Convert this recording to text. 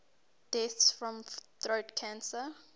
deaths from throat cancer